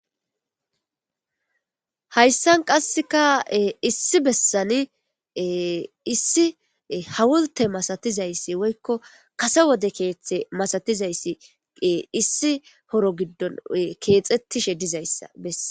hayssan qasseka issi bessani issi hawulte masatizayssi woykko kase wode keeththe masatizayssi issi horo giddon keexettishe dizayssa bessa